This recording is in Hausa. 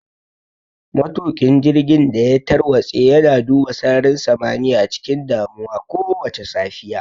Matuƙin jirgin da ya tarwatse yana duba sararin samaniya cikin damuwa kowace safiya.